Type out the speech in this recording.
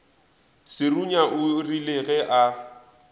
serunya o rile ge a